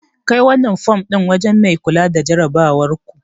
Dauki wannan fom din wajen mai kula da jarabawarku.